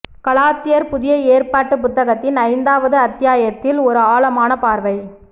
கலாத்தியர் புதிய ஏற்பாட்டு புத்தகத்தின் ஐந்தாவது அத்தியாயத்தில் ஒரு ஆழமான பார்வை